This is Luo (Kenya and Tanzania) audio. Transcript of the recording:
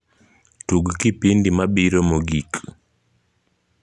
tug kipindi mabiro mokig